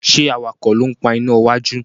ṣe awakọ̀ ló ń pá iná wájú?